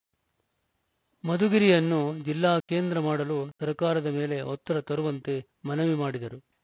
ಮಧುಗಿರಿಯನ್ನು ಜಿಲ್ಲಾ ಕೇಂದ್ರ ಮಾಡಲು ಸರ್ಕಾರದ ಮೇಲೆ ಒತ್ತಡ ತರುವಂತೆ ಮನವಿ ಮಾಡಿದರು